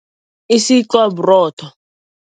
Isikwa burotho.